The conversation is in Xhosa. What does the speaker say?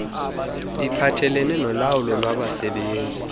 iphathelelene nolawulo lwabasebenzi